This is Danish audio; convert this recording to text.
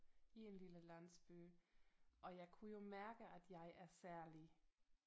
I en lille landsby og jeg kunne jo mærke at jeg er særlig